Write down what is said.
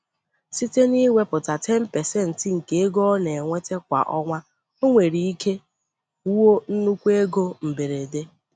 Site n'iwepụta 10% nke ego ọ na-enweta kwa ọnwa, o nwere ike wuo nnukwu ego mberede.